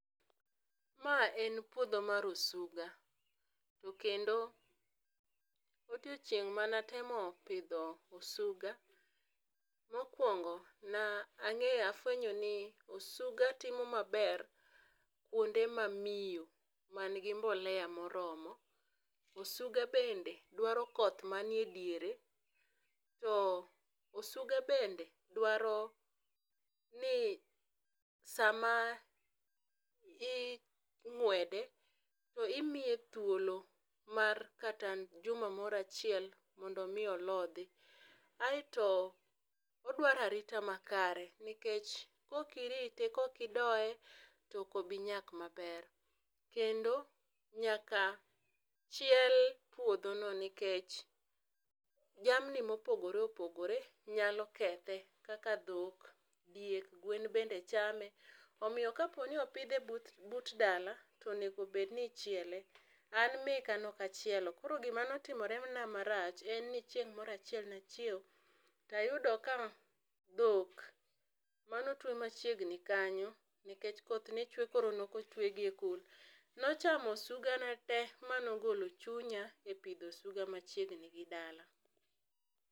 ma en pudho mar osuga to kendo odiechieng mane atemo pidho osuga, mokuongo ne ang'eyo ne afwenyo ni osuga timo ma ber kuonde ma miyo ma ni gi mbolea ma oromo. Osuga bende dwaro koth ma ni e diere, to osuga bende dwaro ni sa ma ingwede to imiye thuolo mar kata juma achiel moro mondo mi olodhi. Aito odwaro arita ma kare nikech kok irite kok idoye to ok obi loth ma ber kendo nyaka chiel puodho no nikech jamni ma opogore opogore nyalo kethe kaka dhok, diek, gwen bende chame. Omiyo ka opidhe but dala onego bed ni ichiele. An meka ne ok achielo koro gi ma ne otimore na ma rach en ni chieng moro achiel ne achiewo to ayudo ka dhok ma ne otwe machiegni kanyo nikech koth ne chwe koro ne ok otwe gi e kul, ne ochamo osuga na te ma na ogolo chunya e pidho osuga machiegni gi dala.